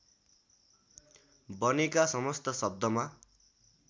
बनेका समस्त शब्दमा